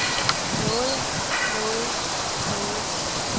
nåede nåede nåede